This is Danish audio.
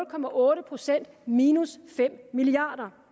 procent minus fem milliard